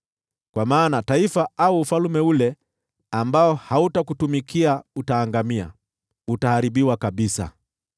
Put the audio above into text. Kwa maana taifa au ufalme ule ambao hautakutumikia utaangamia; utaharibiwa kabisa.